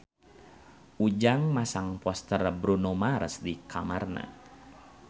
Ujang masang poster Bruno Mars di kamarna